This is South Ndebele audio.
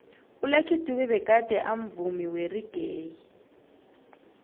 ulucky dube begade amvumi weraggae